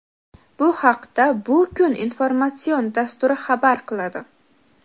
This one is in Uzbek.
Bu haqda "Bu kun" informatsion dasturi xabar qiladi.